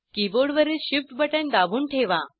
कीबोर्डवरील shift button दाबून ठेवा